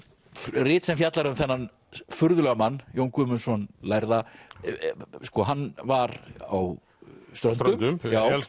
rit sem fjallar um þennan furðulega mann Jón Guðmundsson lærða sko hann var á Ströndum